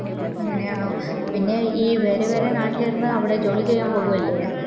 അങ്ങനെയാണോ പിന്നെ ഈ ഈ വേറെ വേറെ നാട്ടിൽ നിന്ന് അവിടെ ജോലി ചെയ്യാൻ പോവൂ അല്ലെ